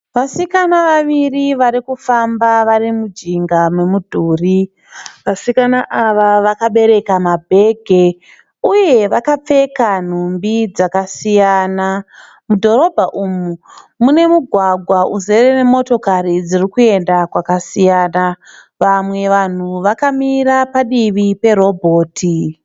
Vasikana vaviri varikufamba varimujinga memudhuri. Vasikana ava vakabereka mabhegi uye vakapfeka nhumbi dzakasiyana. Mudhorobha umu mune mugwagwa uzere nemotokari dzirikuenda kwakasiyana. Vamwe vanhu vakamira padivi perobhoti.